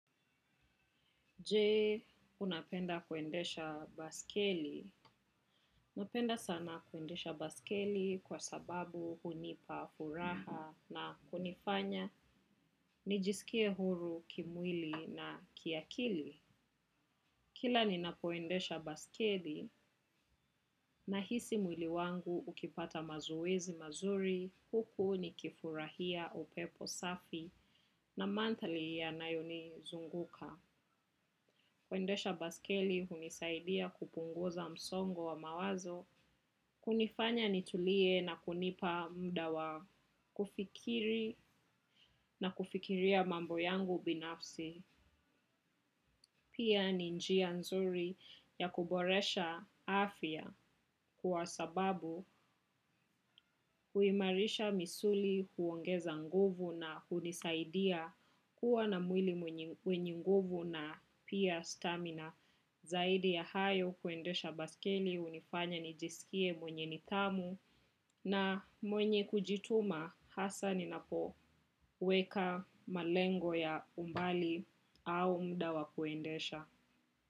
Je, unapenda kuendesha baiskeli. Napenda sana kuendesha baiskeli kwa sababu hunipa furaha na kunifanya nijisikie huru kimwili na kiakili. Kila ninapoendesha baiskeli nahisi mwili wangu ukipata mazoezi mazuri, huku nikifurahia upepo safi na mandhari yanayonizunguka. Kuendesha baiskeli hunisaidia kupunguza msongo wa mawazo, kunifanya nitulie na kunipa muda wa, kufikiri na kufikiria mambo yangu binafsi, pia ni njia nzuri ya kuboresha afya kwa sababu huimarisha misuli huongeza nguvu na hunisaidia kuwa na mwili wenye nguvu na pia stamina. Na zaidi ya hayo kuendesha baiskeli hunifanya nijisikie mwenye nidhamu na mwenye kujituma hasa ninapoweka malengo ya umbali au muda wa kuendesha.